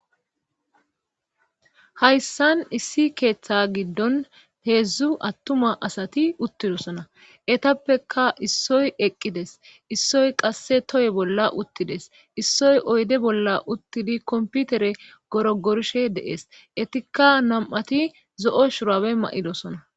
hayssan issi keeththe giddon heedzdzu attuma asati uttidosona etappeka issoy eqqides issoy qasse toye bolla uttides issoy oyde bolla uttidi komputere goro gorishe deees etikka nam7ati zo7o shurabe ma7idosona